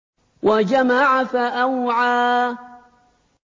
وَجَمَعَ فَأَوْعَىٰ